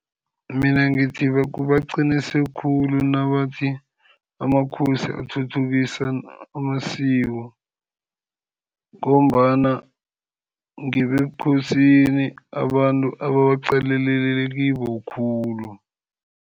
Mina ngithi baqinise khulu nabathi amakhosi athuthukisa amasiko, ngombana ngebebukhosini abantu ababaqalelele kibo khulu.